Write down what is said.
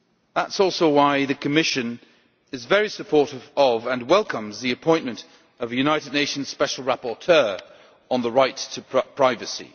That is also why the Commission is very supportive of, and welcomes, the appointment of the United Nations Special Rapporteur on the Right to Privacy.